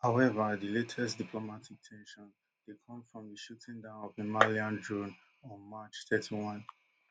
however di latest diplomatic ten sion dey come from di shooting down of a malian drone on march thirty-one